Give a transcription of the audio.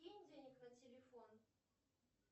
кинь денег на телефон